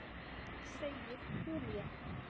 Segir Júlía.